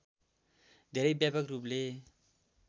धेरै व्यापक रूपले